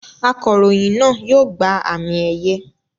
Akọ̀ròyìn náà yóò gba àmì-ẹ̀yẹ.